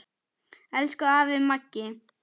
Elsku afi Maggi.